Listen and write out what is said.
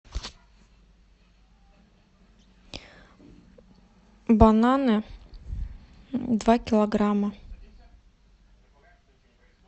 бананы два килограмма